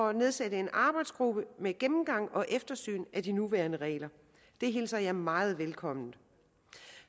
at nedsætte en arbejdsgruppe til gennemgang og eftersyn af de nuværende regler det hilser jeg meget velkommen